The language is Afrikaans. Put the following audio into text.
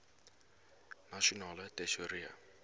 nasionale tesourie